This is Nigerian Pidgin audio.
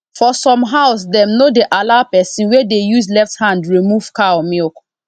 for some house dem no dey allow person wey dey use left hand remove cow milk